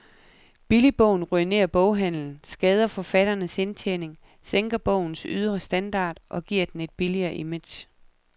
Billigbogen ruinerer boghandelen, skader forfatternes indtjening, sænker bogens ydre standard og giver den et billigt image.